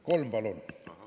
Kolm, palun!